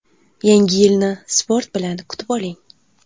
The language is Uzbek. Yangi yilni sport bilan kutib oling!.